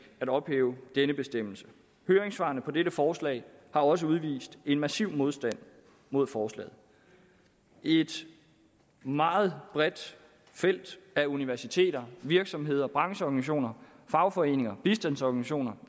at ophæve denne bestemmelse høringssvarene til dette forslag har også vist en massiv modstand mod forslaget et meget bredt felt af universiteter virksomheder brancheorganisationer fagforeninger bistandsorganisationer